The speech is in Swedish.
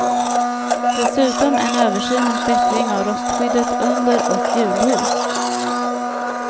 Dessutom en översyn och bättring av rostskyddet under och hjulhus.